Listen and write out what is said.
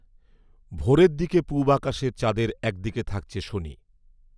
ভোরের দিকে পূব আকাশে চাঁদের এক দিকে থাকছে শনি